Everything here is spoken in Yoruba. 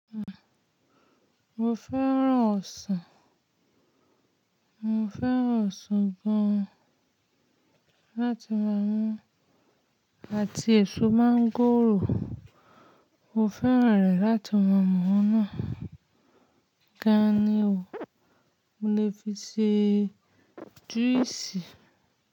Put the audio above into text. Mo fẹ́ràn ọsàn, mo fẹ́ràn ọsàn gan láti máa mú àti èso mọ́ngòrò mo fẹ́ràn rẹ̀ láti máa mú náà. Gàní o, mo lè fi ṣe juice.